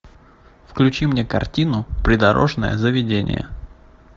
включи мне картину придорожное заведение